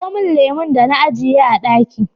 kawo min lemon da na ajiye a ɗaki